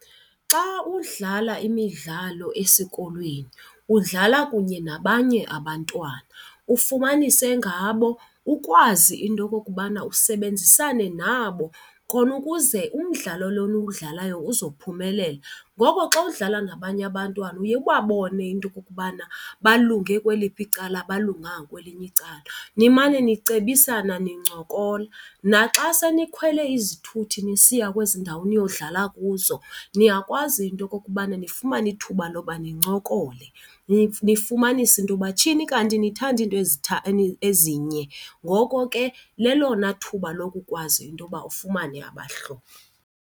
Xa udlala imidlalo esikolweni udlala kunye nabanye abantwana, ufumanise ngabo ukwazi into okokubana usebenzisane nabo khonukuze umdlalo lona eniwudlalayo uzophumelela. Ngoko xa udlala nabanye abantwana uye ubabone into yokokubana balunge kweliphi icala abalunganga kweliphi icala, nimane nicebisana nincokola. Naxa senikhwele izithuthi nisiya kwezi ndawo niyodlala kuzo niyakwazi into yokokubana nifumane ithuba loba nincokole, nifumanise into yoba tshini kanti nithanda into ezinye. Ngoko ke lelona thuba lokwazi intoba ufumane abahlobo.